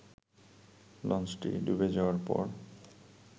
লঞ্চটি ডুবে যাওয়ার পর